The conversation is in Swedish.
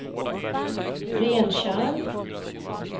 Rentjärn